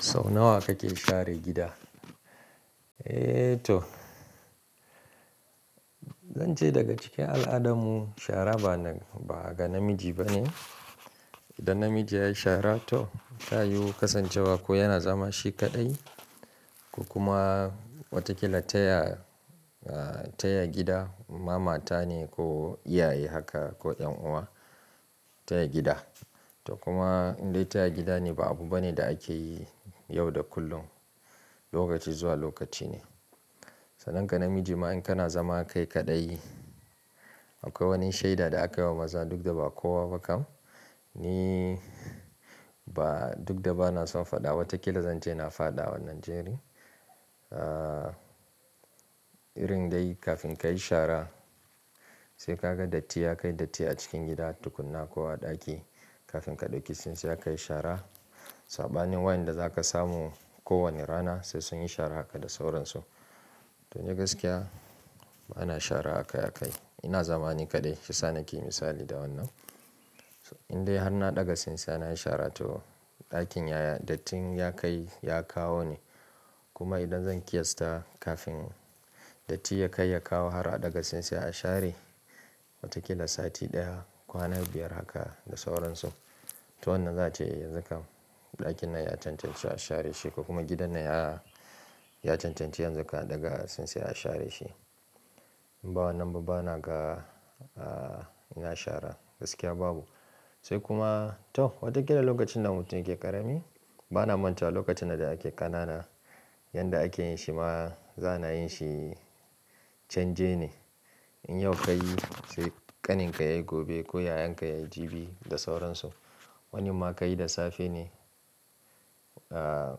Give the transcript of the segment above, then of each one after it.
Sau nawa kake share gida? Eee to zan ce daga cikin al'adarmu shara ba na, ba ga namiji ba ne. Idan namiji ya yi shara to ta yi kasancewa ko yana zama shi kaɗai. Ku ma wataƙila taya, taya gida mama ta ne ko iyaye haka ko ƴan uwa taya gida. To kuma in dai taya gida ne ba abu bane da ake yi yau da kullum lokaci zuwa lokaci ne. Saboda haka namiji ma in kana zama kai kaɗai akwai wani shaida da aka yi wa maza duk da ba kowa ba kam. Ni ba duk da ba na son faɗa wataƙila zan ce ina faɗawa Najeriya. Aa irin dai kafin ka yi shara sai ka ga datti ya kai datti a cikin gida tukuna ko a ɗaki kafin ka ɗauki sinsi ya ka yi shara. Saɓanin wayanda za ka samu kowane rana sai sun yi shara haka da sauran su. To ni gaskiya bana shara haka ya kai. Ina zama ni kaɗai shiyasa nake yi misali da wannan. So in dai har na ɗaga sinsiya na yi shara to ɗakin yaya dattin ya kai ya kawo ni. Kuma idan zan kiyasta kafin datti ya kai ya kawo har a ɗaga sinsiya a share wataƙila sati ɗaya, kwana biyar haka da sauran su. To wannan za ta yi yanzu kam ɗakinan ya cancanci a share shi ko kuma gidan na ya, ya cancanci yanzu kam ɗaga sinsiya a share shi. In ba wannan ba bana ga ina shara gaskiya babu. Sai kuma to wataƙila lokacin da mutum yake ƙarami bana manta lokacin da ake kanana yanda ake yin shi ma zanayin shi canje ne. In yau ka yi sai ƙanin ka ya yi gobe ko yayan ka ya ji bi da sauran su. Wani ma ka yi da safe ne aa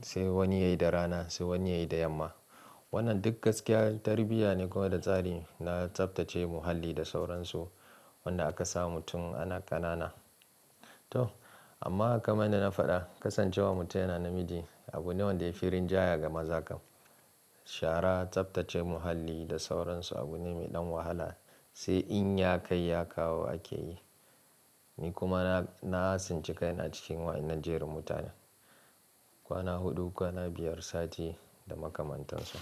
sai wani ya yi da rana sai wani ya yi da yamma. Wannan duk gaskiya tarbiyya ne kuma da tsari na tsaftace muhalli da sauran su. Wanda a ka sa mutum ana ƙanana. To amma haka mana na faɗa kasancewa mutum yana namiji abu ne wanda ya yi firin Jaye ga maza kam. Shara tsaftace muhalli da sauran su abu ne mai ɗan wahala sai in ya kai ya kawo ake yi. Ni kuma na, na nasunci kai na cikin wayan na jera mutane. Kwana huɗu kwana biyar sati da makamantansu.